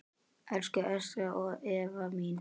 Elsku Ester Eva mín.